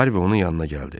Harvi onun yanına gəldi.